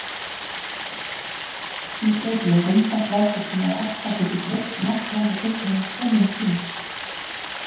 Síbreytileg vindátt veldur því, að aska getur dreifst um allt land á tiltölulega skömmum tíma.